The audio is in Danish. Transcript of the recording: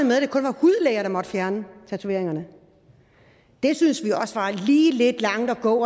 at der måtte fjerne tatoveringer det synes vi også var lige lidt langt at gå